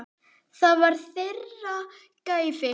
Það var þeirra gæfa.